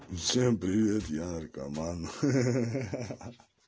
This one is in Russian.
всем привет я наркоман ха-ха-ха